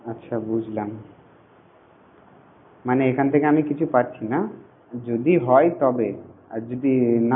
আচ্ছা বুঝলাম মানে এইখান থেকে আমি কিছু পাচ্ছি না যদি হয় তবে আর যদি